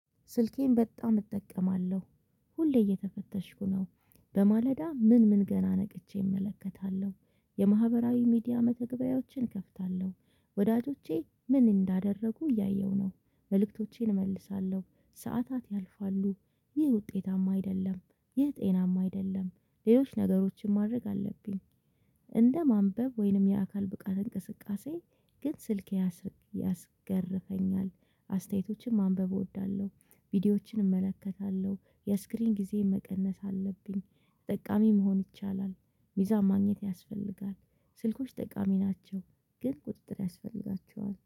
ስልኬን በጣም እጠቀማለሁ ሁሌ እየተፈተሽኩ ነው። በማለዳ ምን ምን ገና ነቅቼ እመለከታለሁ የማህበራዊ ሚዲያ መተግበያዎችን እከፍታለሁ ወዳጆቼ ምን እንዳደረጉ እያየሁ ነው፤ መልእክቶቼን እመልሳለሁ ሰዓታት ያልፋሉ። ይህ ውጤታማ አይደለም። ይህ ጤናማ አይደለም፤ ሌሎች ነገሮችን ማድረግ አለብኝ፤ እንደ ማንበብ ወይንም የአካል ብቃት እንቅስቃሴ ግን ስልክ ያስገርፈኛል አስተያየቶችን ማንበብ እወዳለሁ ቪዲዮዎችን እመለከታለሁ የስክሪን ጊዜ መቀነስ አለብኝ። ጠቃሚ መሆን ይቻላል ሚዛን ማግኘት ያስፈልጋል ስልኮች ጠቃሚ ናቸው ግን ቁጥጥር ያስፈልጋቸዋል።